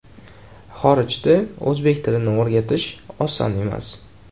Xorijda o‘zbek tilini o‘rgatish oson emas.